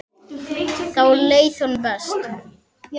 Þá leið honum best.